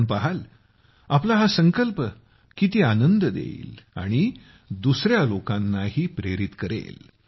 आपण पहाल आपला हा संकल्प किती आनंद देईल आणि दुसर्या लोकांनाही प्रेरित करेल